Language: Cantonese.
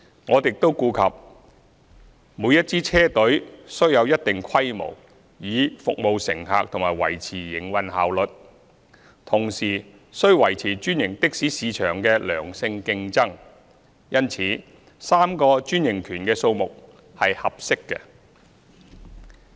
我們亦顧及每支車隊須有一定規模以服務乘客及維持營運效率，同時須維持專營的士市場的良性競爭，因此3個專營權的數目是合適的。